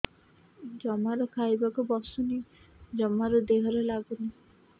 ଜମାରୁ ଖାଇବାକୁ ବସୁନି ଜମାରୁ ଦେହରେ ଲାଗୁନି